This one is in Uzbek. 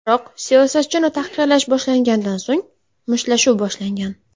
Biroq siyosatchini tahqirlash boshlangandan so‘ng, mushtlashuv boshlangan.